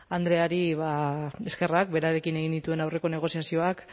andreari eskerrak berarekin egin nituen aurreko negoziazioak